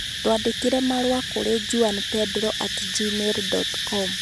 Twandĩkĩre marũa kũrĩ juanpedro at gmail dot com